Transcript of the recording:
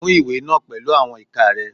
Mú ìwé náà pẹ̀lú àwọn ìka rẹ.